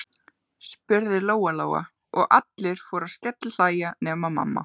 spurði Lóa Lóa, og allir fóru að skellihlæja nema mamma.